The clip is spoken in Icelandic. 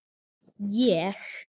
Ég?!